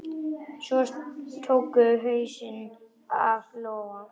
Svo tóku húsin að loga.